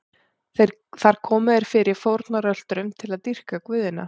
Þar komu þeir fyrir fórnarölturum til að dýrka guðina.